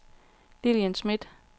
Lillian Smith